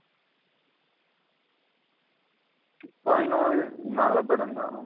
two point o நல்ல படம்தா.